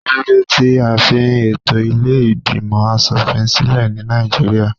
Kíló dé tí a fi ètò ilé ìgbìmò aṣòfin sílẹ̀ ní Nàìjíríà?